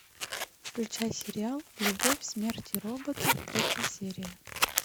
включай сериал любовь смерть и роботы третья серия